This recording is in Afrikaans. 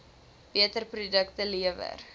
beter produkte lewer